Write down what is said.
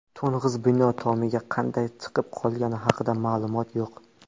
To‘ng‘iz bino tomiga qanday chiqib qolgani haqida ma’lumot yo‘q.